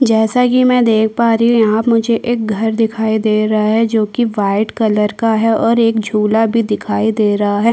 जैसा कि मैं देख पा रही हूँ यहाँ मुझे एक घर दिखाई दे रहा है जोकि व्हाइट कलर का है और एक झूला भी दिखाई दे रहा हैं ।